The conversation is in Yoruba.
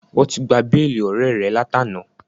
Wọ́n ti gba béèlì ọ̀rẹ́ẹ̀ rẹ látàná.